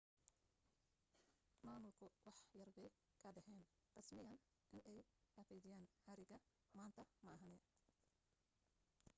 maamulku wax yarbay ka dhaheen rasmiyan inay xaqiijiyeen xariga maanta maahane